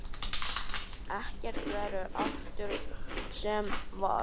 Ekkert verður aftur sem var.